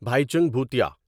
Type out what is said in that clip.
Bhaichung Bhutia